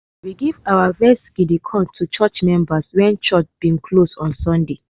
we give our first guinea corn to church members when church bin close on sunday.